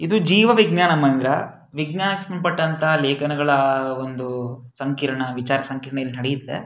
ಇದು ಜೀವ ವಿಜ್ಞಾನ ಮಂದ್ರ ವಿಜ್ಞಾಕ್ ಸ್ಮ್ನ್ ಪಟ್ಟಂತ ಲೇಖನಗಳ ಒಂದೂ ಸಂಕೀರ್ಣ ವಿಚಾರ್ ಸಂಕೀರ್ಣ ಇಲ್ನಡೆಯುತ್ತೆ.